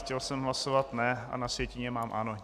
Chtěl jsem hlasovat ne, a na sjetině mám ano.